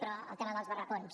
però el tema dels barracons